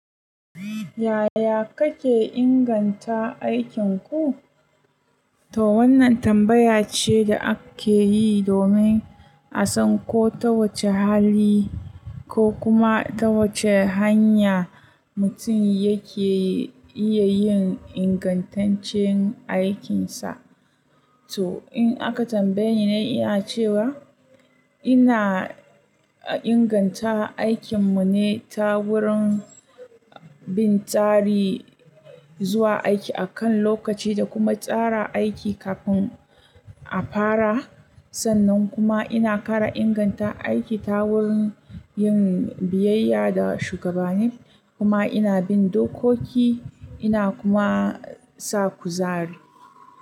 Yaya kake inganta aikinku? To wannan tambaya ce da ake yi domin a san ko ta wace hali ko kuma ta wace hanya mutum yake iya yin ingantaccen aikinsa. To in aka tambaye ni, ina cewa ina inganta aikin mu ne ta wurin bin tsari zuwa aiki akan lokaci da kuma tsara aiki kafin a fara. Sannan kuma ina kara inganta aiki ta wurin yin biyayya da shugabanni, kuma ina bin dokoki, ina kuma sa kuzari.